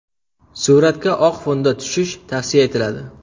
Suratga oq fonda tushish tavsiya etiladi.